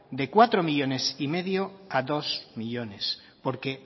de cuatro coma cinco millónes a dos millónes porque